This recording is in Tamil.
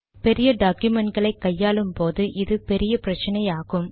பெரிய டாக்குமெண்டுகளை கையாளும்போது இது பெரிய பிரச்சினையாகும்